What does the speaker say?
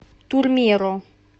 турмеро